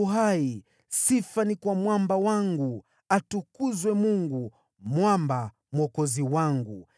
“ Bwana yu hai! Sifa ni kwa Mwamba wangu! Atukuzwe Mungu, Mwamba, Mwokozi wangu!